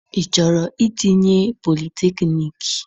Ị chọrọ itinye politekniiki?